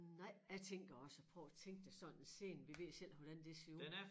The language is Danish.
Nej jeg tænker også at prøv at tænke det sådan en sene vi ved selv hvordan den ser ud